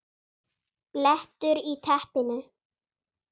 BLETTUR Í TEPPINU